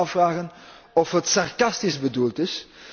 We kunnen ons afvragen of het sarcastisch bedoeld is.